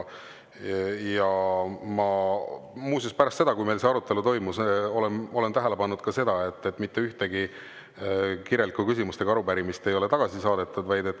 Muuseas, pärast seda, kui meil see arutelu toimus, ma olen tähele pannud, et mitte ühtegi kirjalikku küsimust ega arupärimist ei ole tagasi saadetud.